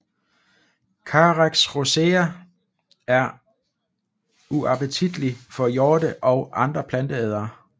Carex rosea er uappetitlig for hjorte og andre planteædere